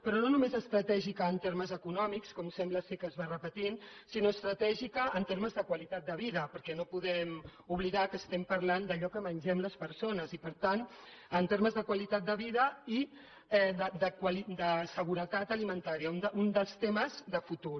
però no només estratègica en termes econòmics com sembla que es va repetint sinó estratègica en termes de qualitat de vida perquè no podem oblidar que estem parlant d’allò que mengem les persones i per tant en termes de qualitat de vida i de seguretat alimentària un dels temes de futur